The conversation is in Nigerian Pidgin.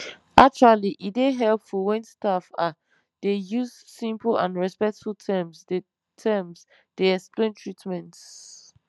actually e dey helpful wen staff ah dey use simple and respectful terms dey terms dey explain treatments